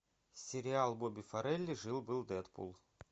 сериал бобби фаррелли жил был дедпул